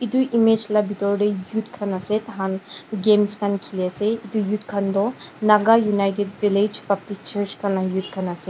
Tu image la bhedor tey youth khan ase taihan games khan khele ase etu youth khan tho naga united village babtis church khan laka youth khan ase.